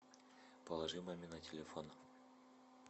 положи маме на телефон